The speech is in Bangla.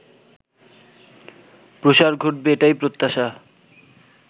প্রসার ঘটবে এটাই প্রত্যাশা